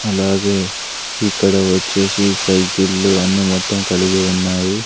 అలాగే ఇక్కడ వచ్చేసి సైకిళ్ళు అన్నీ మొత్తం కలిగి ఉన్నాయి.